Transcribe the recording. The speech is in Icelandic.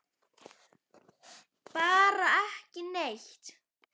Bara ekki neitt.